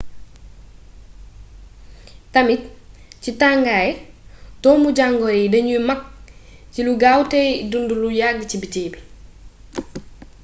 tamit ci tangaay doomu jangoro yi dagnuy magg cilu gaawtéy dundu lu yagg ci biti